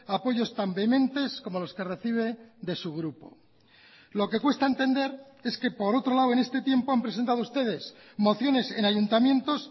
apoyos tan vehementes como los que recibe de su grupo lo que cuesta entender es que por otro lado en este tiempo han presentado ustedes mociones en ayuntamientos